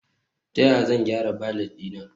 Ta yaya zan gyara valet ɗina?